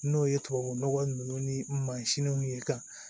N'o ye tubabu nɔgɔ ninnu ni mansinw ye ka